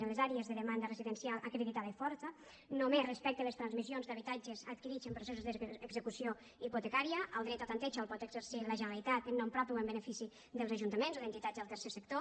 en les àrees de demanda residencial acreditada i forta només respecte a les transmissions d’habitatges adquirits en processos d’execució hipotecària el dret a tanteig el pot exercir la generalitat en nom propi o en benefici dels ajuntaments o d’entitats del tercer sector